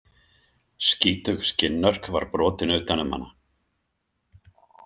Skítug skinnörk var brotin utan um hana.